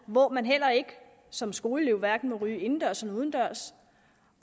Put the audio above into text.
hvor man heller ikke som skoleelev hverken må ryge indendørs eller udendørs